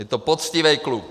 Je to poctivý kluk!